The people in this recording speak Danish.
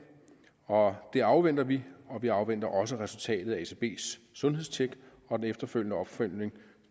og det afventer vi vi afventer også resultatet af et ecbs sundhedstjek og den efterfølgende opfølgning